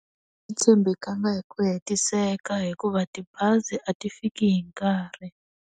A ti tshembekanga hi ku hetiseka hikuva tibazi a ti fiki hi nkarhi.